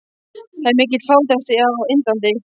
Það er mikil fátækt á Indlandi.